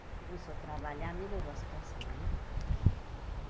Ele começou a trabalhar, melhorou a situação, né?